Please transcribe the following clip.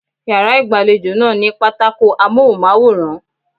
Yàrá ìgbàlejò náà ní pátákó Amóhùnmáwòrán.